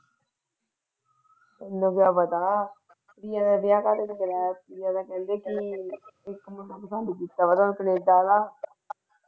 ਤੈਨੂੰ ਨੂੰ ਕਿ ਪਤਾ ਕੀ ਉਹਨੇ ਵਿਆਹ ਕਹਿੰਦੇ ਲਈ ਕਰਾਇਆ ਸੀ ਉਹ ਤਾ ਕਹਿੰਦੀ ਸੀ ਕੀ ਇੱਕ ਮੁੰਡੇ ਨੂੰ ਕੀਤਾ ਕੈਨੇਡਾ ਵਾਲਾ।